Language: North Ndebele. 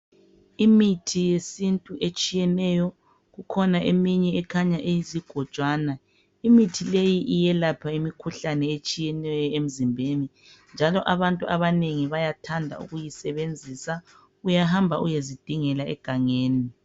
Imithi yesintu etshiyeneyo kukhona eminye ekhanya iyizigojwana. Imithi leyi iyelapha imikhuhlane etshiyeneyo emzimbeni. Njalo abantu abanengi bayathanda ukuyisebenzisa uyahamba uyezidingela egangeni.